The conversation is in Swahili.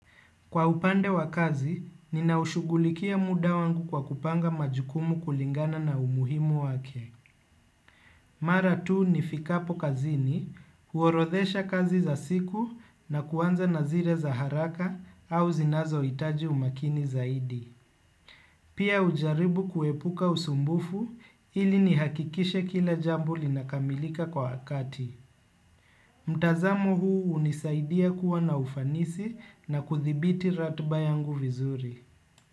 Kwa upande wa kazi, ninaushugulikia muda wangu kwa kupanga majukumu kulingana na umuhimu wake. Mara tuu nifikapo kazini, huorodhesha kazi za siku na kuanza na zile za haraka au zinazo itaji umakini zaidi. Pia hujaribu kuepuka usumbufu ili nihakikishe kila jambo linakamilika kwa wakati. Mtazamo huu unisaidia kuwa na ufanisi na kuthibiti ratiba yangu vizuri.